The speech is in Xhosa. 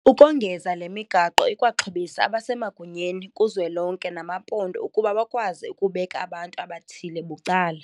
Ukongeza le migaqo ikwaxhobisa abasemagunyeni kuzwelonke nabamaphondo ukuba bakwazi ukubeka abantu abathile bucala.